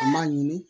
U m'a ɲini